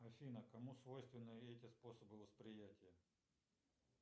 афина кому свойственны эти способы восприятия